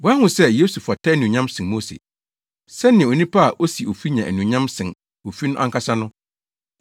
Wɔahu sɛ Yesu fata anuonyam sen Mose, sɛnea onipa a osi ofi nya anuonyam sen ofi no ankasa no.